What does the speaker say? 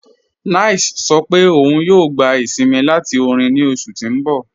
9ice sọ̀ pé ọun yòò gbà isìnmí láti orin ní oṣù tí n bọ̀.